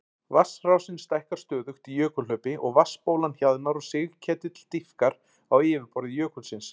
Vatnsrásin stækkar stöðugt í jökulhlaupi og vatnsbólan hjaðnar og sigketill dýpkar á yfirborði jökulsins.